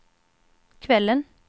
kvällen